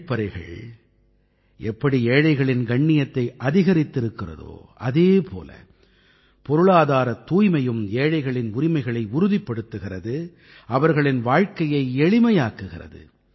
கழிப்பறைகள் எப்படி ஏழைகளின் கண்ணியத்தை அதிகரித்திருக்கிறதோ அதே போல பொருளாதாரத் தூய்மையும் ஏழைகளின் உரிமைகளை உறுதிப்படுத்துகிறது அவர்களின் வாழ்க்கையை எளிமையாக்குகிறது